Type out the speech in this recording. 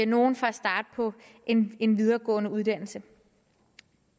nogle fra at starte på en en videregående uddannelse